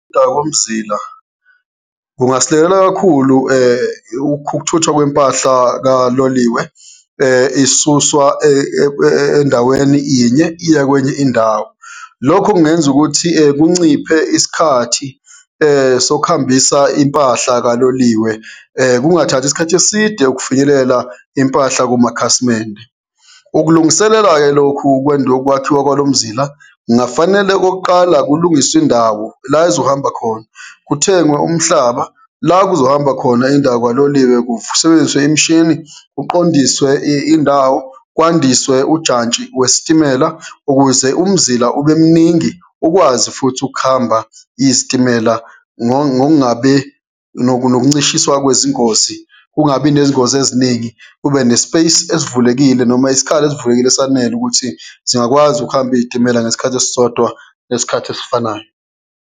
komzila kungasilekelela kakhulu ukuthuthwa kwempahla kaloliwe isuswa endaweni inye iya kwenye indawo. Lokhu kungenza ukuthi kunciphe isikhathi sokuhambisa impahla kaloliwe, kungathathi isikhathi eside ukufinyelela impahla kumakhasimende. Ukulungiselela-ke lokhu wokwakhiwa kwalo mzila, kungafanele okokuqala, kulungiswe indawo la ezohamba khona, kuthengwe umhlaba la kuzohamba khona indawo kaloliwe, kusebenziswe imishini, kuqondiswe indawo, kwandiswe ujantshi wesitimela ukuze umzila ube mningi ukwazi futhi ukuhamba izitimela ngongabe nokuncishiswa kwezingozi, kungabi nezingozi eziningi, kube ne-space esivulekile noma isikhala sivulekile esanele ukuthi zingakwazi ukuhamba iy'timela ngesikhathi esisodwa, ngesikhathi esifanayo.